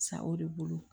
Sa o de bolo